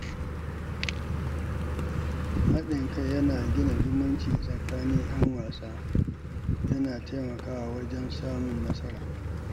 Haɗin kai yana gina zumunci tsakanin ƴan wasa kuma yana taimakawa wajen samun nasara.